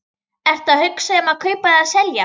Ertu að hugsa um að kaupa eða selja?